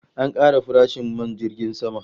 An kara farashin man jirgin sama